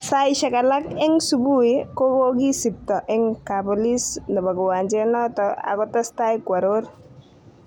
Saishek alak eng subui, kokokisipto eng kap polis nebo kiwanjet noton akotestai kworor.